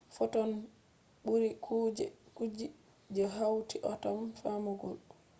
fotons ɓuri kuje ji je hauti atom famɗugo!